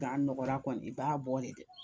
Gan nɔgɔra kɔni i b'a bɔ de